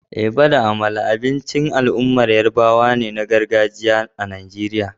Eba da amala abincin al'ummar yarabawa na gargajiya ne a Najeriya.